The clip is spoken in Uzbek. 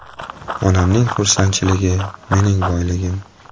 Onamning xursandchiligi mening boyligim.